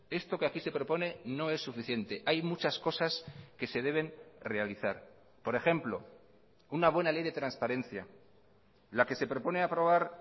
esto que aquí se propone no es suficiente hay muchas cosas que se deben realizar por ejemplo una buena ley de transparencia la que se propone aprobar